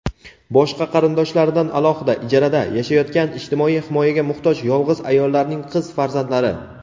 boshqa qarindoshlaridan alohida (ijarada) yashayotgan ijtimoiy himoyaga muhtoj yolg‘iz ayollarning qiz farzandlari;.